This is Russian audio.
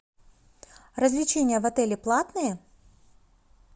развлечения в отеле платные